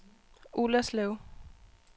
Ullerslev